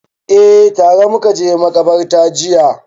Eh, tare muka je maƙabarta jiya